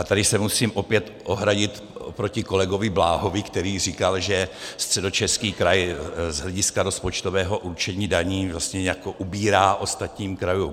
A tady se musím opět ohradit proti kolegovi Bláhovi, který říkal, že Středočeský kraj z hlediska rozpočtového určení daní vlastně nějak ubírá ostatním krajům.